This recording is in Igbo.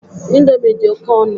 Ịndomi dị oké ọnụ